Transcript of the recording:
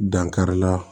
Dankari la